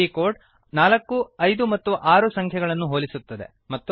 ಈ ಕೋಡ್ 4 5 ಮತ್ತು 6 ಸಂಖ್ಯೆಗಳನ್ನು ಹೋಲಿಸುತ್ತದೆ